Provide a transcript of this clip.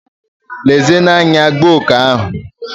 Lezienụ anya, gbuo oke ahụ!